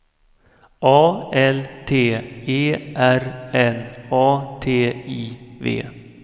A L T E R N A T I V